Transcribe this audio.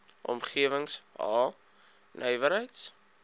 omgewings h nywerheids